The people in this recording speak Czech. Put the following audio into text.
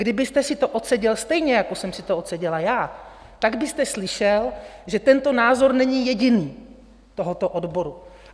Kdybyste si to odseděl stejně, jak jsem si to odseděla já, tak byste slyšel, že tento názor není jediný, tohoto odboru.